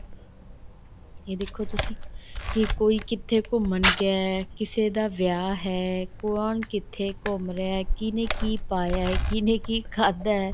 ਇਹ ਦੇਖੋ ਤੁਸੀਂ ਕੀ ਕੋਈ ਕਿੱਥੇ ਘੁੰਮਣ ਗਿਆ ਹੈ ਕਿਸੇ ਦਾ ਵਿਆਹ ਹੈ ਕੋਣ ਕਿੱਥੇ ਘੁੰਮ ਰਿਹਾ ਏ ਕਿੰਨੇ ਕੀ ਪਾਇਆ ਹੈ ਕਿਹਨੇ ਕੀ ਖਾਹਦਾ ਏ